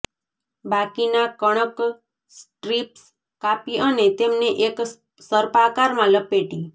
બાકીના કણક સ્ટ્રિપ્સ કાપી અને તેમને એક સર્પાકાર માં લપેટી